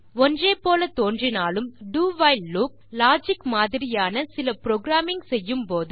ஒன்றே போல தோன்றினாலும் do வைல் லூப் லாஜிக் மாதிரியான சில ப்ரோகிராமிங் செய்யும் போது